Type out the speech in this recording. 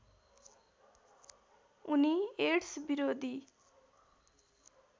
उनी एड्स विरोधी